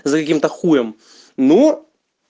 за каким-то хуем ну